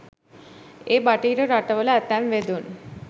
ඒ බටහිර රටවල ඇතැම් වෙදුන්